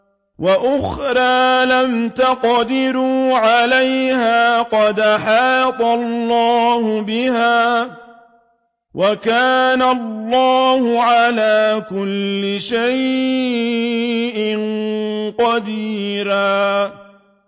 وَأُخْرَىٰ لَمْ تَقْدِرُوا عَلَيْهَا قَدْ أَحَاطَ اللَّهُ بِهَا ۚ وَكَانَ اللَّهُ عَلَىٰ كُلِّ شَيْءٍ قَدِيرًا